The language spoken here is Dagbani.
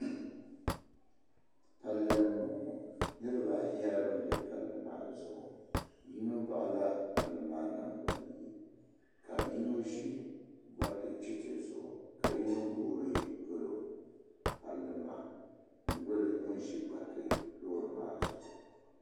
Palli mbɔŋɔ niriba ayi nyɛla bambɛ palli maa Zuɣu yino baɣila palli maa nangban yɛɛ ka yino ʒi gbariti chɛchɛ zuɣu ka yiino guiri dolo palli maa n doli ŋun zi gbaritiloori maa zuɣu.